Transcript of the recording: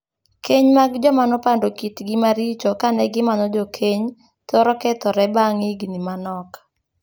Kenya mag joma nopando kitgi maricho kane gimanyo jokeny thoro kethore bang' higni manok.